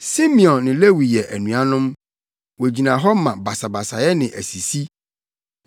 “Simeon ne Lewi yɛ anuanom. Wogyina hɔ ma basabasayɛ ne asisi.